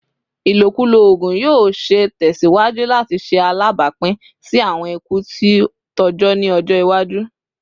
Ilokulo oogun yoo ṣee tẹsiwaju lati ṣe alabapin si awọn iku ti tọjọ ni ọjọ iwaju